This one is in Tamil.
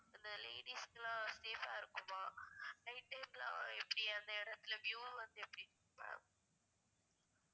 இந்த ladies குலாம் safe ஆ இருக்குமா night time லாம் எப்டி அந்த இடத்துல view வந்து எப்டி இருக்கும் ma'am?